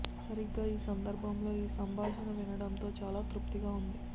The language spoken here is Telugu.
సరిగ్గా ఈ సందర్భంలో ఈ సంభాషణ వినడంతో చాలా తృప్తిగా వుంది